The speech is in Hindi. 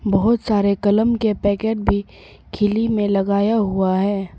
बहुत सारे कलाम के पैकेट भी किलि में लगाया हुआ है।